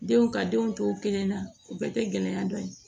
Denw ka denw to kelen na u bɛɛ tɛ gɛlɛya dɔn yen